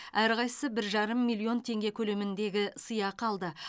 әрқайсысы бір жарым миллион теңге көлеміндегі сыйақы алды